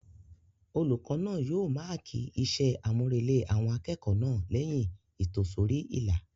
Olùkọ́ náà yóò máàkì iṣẹ́-àmúrelé àwọn akẹ́kọ̀ọ́ náà lẹ́yìn ìtòsórí-ìlà